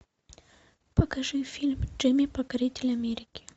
покажи фильм джимми покоритель америки